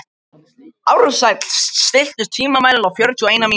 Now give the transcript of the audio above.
Ársæll, stilltu tímamælinn á fjörutíu og eina mínútur.